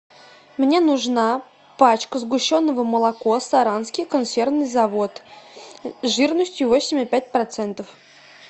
мне нужна пачка сгущенного молоко саранский консервный завод жирностью восемь и пять процентов